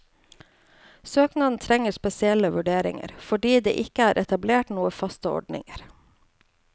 Søknaden trenger spesielle vurderinger, fordi det ikke er etablert noen faste ordninger.